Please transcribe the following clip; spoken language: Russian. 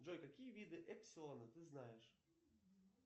джой какие виды эпсилона ты знаешь